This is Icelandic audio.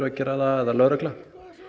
að gera það eða lögregla